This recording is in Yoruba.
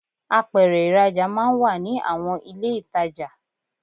Apèrè ìrajà máa n wà ní àwon ilé itajo